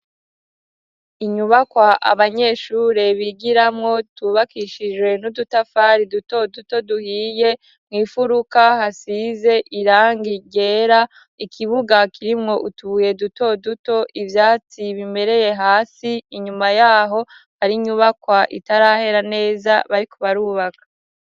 Inyubakwa abanyeshure bigiramwo yubakishijwe n'udutafari duto duto duhiye, mw'ifuruka hasize irangi ryera, ikibuga kirimwo utubuye duto duto, ivyatsi bimereye hasi, inyuma yaho hari inyubakwa itarahera neza bariko barubaka.